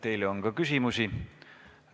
Teile on ka küsimusi.